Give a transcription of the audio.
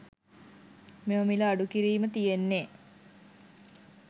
මෙම මිල අඩුකීරිම තියෙන්නේ